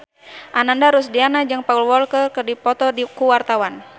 Ananda Rusdiana jeung Paul Walker keur dipoto ku wartawan